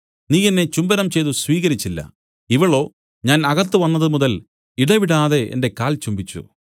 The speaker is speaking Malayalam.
നീ എന്നെ ചുംബനം ചെയ്തു സ്വീകരിച്ചില്ല ഇവളോ ഞാൻ അകത്ത് വന്നതുമുതൽ ഇടവിടാതെ എന്റെ കാൽ ചുംബിച്ചു